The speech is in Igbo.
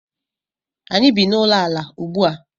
Anyị bi n’ụlọala ugbu a